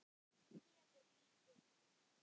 Kelur lítið.